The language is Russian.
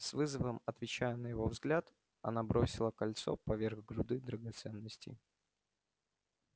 с вызовом отвечая на его взгляд она бросила кольцо поверх груды драгоценностей